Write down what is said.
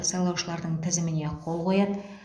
сайлаушылардың тізіміне қол қояды